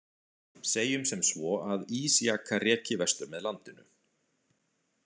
Segjum sem svo að ísjaka reki vestur með landinu.